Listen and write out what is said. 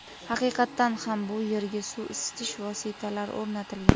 Haqiqatdan ham, bu yerga suv isitish vositalari o‘rnatilgan.